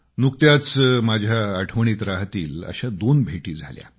नुकत्याच माझ्या आठवणीत राहतील अशा दोन भेटी झाल्या